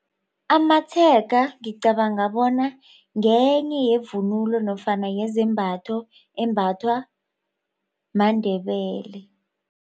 Amatshega ngicabanga bona ngenye yevunulo nofana yezembatho embathwa maNdebele.